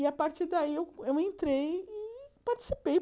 E, a partir daí, eu eu entrei e participei.